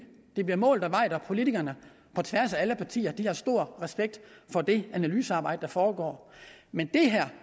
det bliver målt og vejet og politikerne på tværs af alle partier har stor respekt for det analysearbejde der foregår men